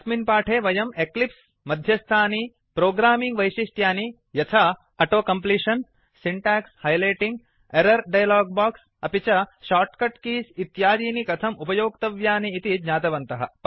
अस्मिन् पाठे वयं एक्लिप्स् मध्यस्थानि प्रोग्रामिंग् वैशिष्ट्यानि यथा auto completion syntax highlighting error dialogue box अपि च शॉर्टकट कीज इत्यादीनि कथम् उपयोक्तव्यानि इति ज्ञातवन्तः